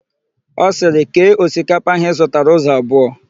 Ọ sịrị, "kee osikapa áhụ̀ ị zụtara ụzọ abụọ"!